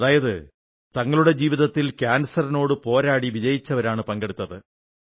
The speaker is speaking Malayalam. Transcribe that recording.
അതായത് തങ്ങളുടെ ജീവിതത്തിൽ കാൻസറിനോട് പോരാടി വിജയിച്ചവരാണ് പങ്കെടുത്തത്്